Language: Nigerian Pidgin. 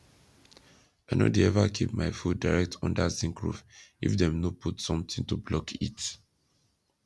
i no de ever keep my food direct under zinc roof if dem no put something to block heat